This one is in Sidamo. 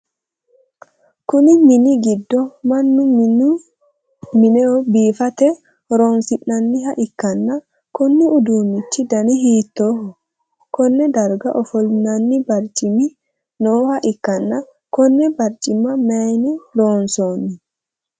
Kunni minni gido mannu minehu biifate horoonsi'nanniha ikanna konni uduunichi danni hiitooho? Konne darga ofolinnanni barcimi nooha ikanna konne barcima mayinni loonsoonni?